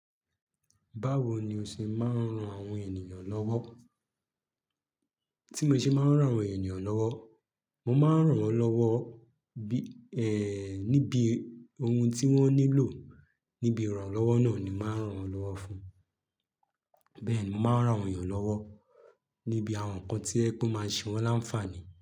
Báwo ni o se máa ran àwon èníyàn lówo. Tí mo ṣe máa ń ran àwọn ènìyàn lọ́wọ́, mo máa ń ràn wọ́n lọ́wọ́ bi e níbi ohun tí wọ́n nílò, níbi ìrànlọ́wọ́ náà ni màá ràn wọ́n lọ́wọ́ fún. Bẹ́ẹ̀ ni, màá ràn àwọn èyàn lọ́wọ́ níbi àwọn nǹkan tí ẹ pe o máa ṣe wọ́n láǹfààní.